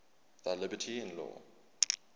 thy liberty in law